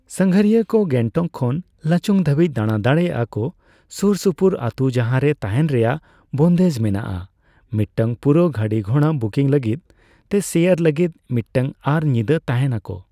ᱥᱟᱸᱜᱷᱟᱨᱤᱭᱟᱹ ᱠᱚ ᱜᱮᱝᱴᱚᱠ ᱠᱷᱚᱱ ᱞᱟᱪᱩᱝ ᱫᱷᱟᱹᱵᱤᱡ ᱫᱟᱬᱟ ᱫᱟᱲᱮᱭᱟᱜ ᱟᱠᱚ, ᱥᱩᱨ ᱥᱩᱯᱩᱨ ᱟᱛᱳ ᱡᱟᱦᱟᱸᱨᱮ ᱛᱟᱦᱮᱸᱱ ᱨᱮᱭᱟᱜ ᱵᱚᱱᱫᱮᱡ ᱢᱮᱱᱟᱜᱼᱟ, ᱢᱤᱫᱴᱟᱝ ᱯᱩᱨᱟᱹᱣ ᱜᱟᱹᱰᱤ ᱜᱷᱚᱲᱟ ᱵᱩᱠᱤᱝ ᱞᱟᱹᱜᱤᱫ ᱛᱮ ᱥᱮᱭᱟᱨ ᱞᱟᱹᱜᱤᱫ ᱢᱤᱫᱴᱟᱝ ᱟᱨ ᱧᱤᱫᱟᱹ ᱛᱟᱸᱦᱮᱱ ᱟᱠᱳ ᱾